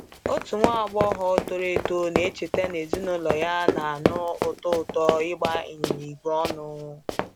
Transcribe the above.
Otu nwa agbọghọ toro eto na-echeta na ezinụlọ ya na-anụ ụtọ ụtọ ịgba ịnyịnya igwe ọnụ.